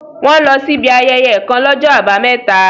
Wọ́n lọ sí ibi ayẹyẹ kàn l'ọ́jọ́ àbámẹ́ta